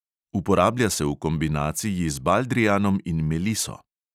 Uporablja se v kombinaciji z baldrijanom in meliso.